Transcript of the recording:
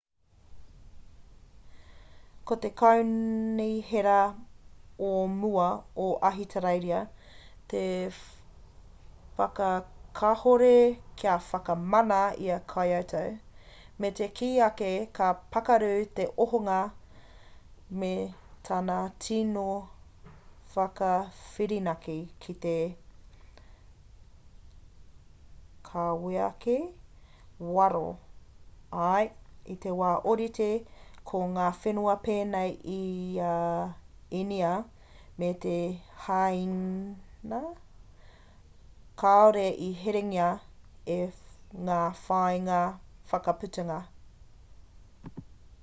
ko te kaunihera ō mua o ahitereiria i whakakahore kia whakamana i a kyoto me te kī ake ka pakaru te ohanga me tana tīno whakawhirinaki ki te kaweake waro ā i te wā orite ko ngā whenua penei i a inia me hāin kāore i herengia e ngā whāinga whakaputanga